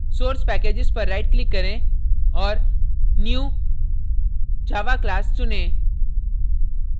source packages पर right click करें और new> java class चुनें